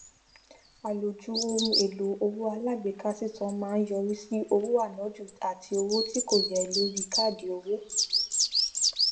àlòjù ohun èlò owó alágbèéká sísan máa ń yọrí sí owó ànájù àti owó tí kò yẹ lórí káàdì owó